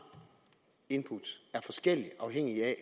input er forskellige afhængigt af